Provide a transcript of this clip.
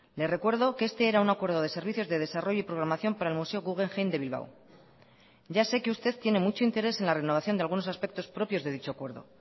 le recuerdo que este era un acuerdo de servicios de desarrollo y programación para el museo guggenheim de bilbao ya sé que usted tiene mucho interés en la renovación de algunos aspectos propios de dicho acuerdo